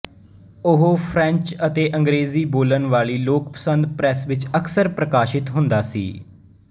ਉਹ ਫ੍ਰੈਂਚਅਤੇ ਅੰਗ੍ਰੇਜ਼ੀ ਬੋਲਣ ਵਾਲੀ ਲੋਕਪਸੰਦ ਪ੍ਰੈਸ ਵਿੱਚ ਅਕਸਰ ਪ੍ਰਕਾਸ਼ਿਤ ਹੁੰਦਾ ਸੀ